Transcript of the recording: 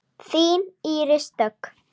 Þín Íris Dögg.